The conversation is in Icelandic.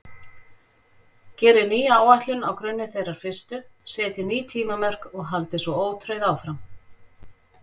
Gerið nýja áætlun á grunni þeirrar fyrstu, setjið ný tímamörk og haldið svo ótrauð áfram.